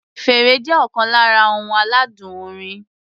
Fèrè jẹ́ ọ̀kan lára ohun aládùn orin.